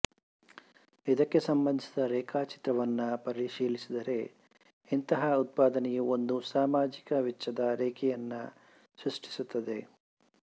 ಇದಕ್ಕೆ ಸಂಬಂಧಿಸಿದ ರೇಖಾಚಿತ್ರವನ್ನು ಪರಿಶೀಲಿಸಿದರೆ ಇಂತಹ ಉತ್ಪಾದನೆಯು ಒಂದು ಸಾಮಾಜಿಕ ವೆಚ್ಚದ ರೇಖೆಯನ್ನು ಸೃಷ್ಟಿಸುತ್ತದೆ